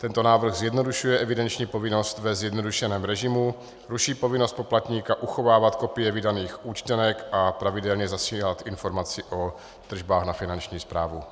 Tento návrh zjednodušuje evidenční povinnost ve zjednodušeném režimu, ruší povinnost poplatníka uchovávat kopie vydaných účtenek a pravidelně zasílat informaci o tržbách na Finanční správu.